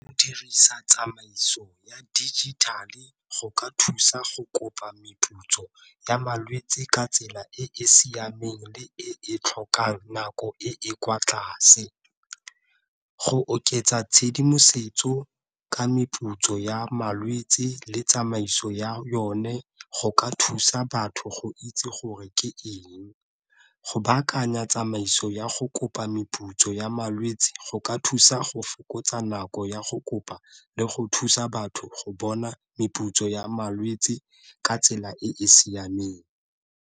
Go dirisa tsamaiso ya digital-e go ka thusa go kopa meputso ya malwetsi ka tsela e e siameng le e tlhokang nako e e kwa tlase, go oketsa tshedimosetso ka meputso ya malwetsi le tsamaiso ya yone go ka thusa batho go itse gore ke eng, go baakanya tsa tsamaiso ya go kopa meputso ya malwetsi go ka thusa go fokotsa nako ya go kopa le go thusa batho go bona meputso ya malwetsi ka tsela e e siameng.